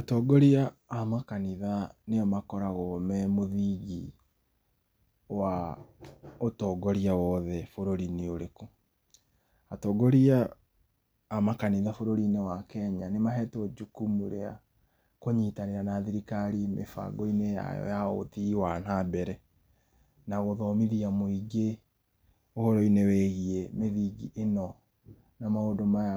Atongoria a makanitha nĩo makoragwo me mũthingi wa ũtongoria wothe bũrũri inĩ ũrĩkũ atongoria a makanitha bũrũri inĩ wa Kenya nĩ mahetwo jukumu ya kũnyitanĩra na thirikari mĩbango inĩ yao ya ũthii wa na mbele na gũthomithia mũingĩ ũhoro inĩ wĩgiĩ ĩno na mũndũ maya